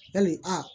Yali aa